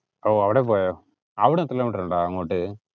ഓ അവിടെ പോയോ? അവിടുന്ന് എത്ര kilo meter ഉണ്ട് അങ്ങോട്ട്?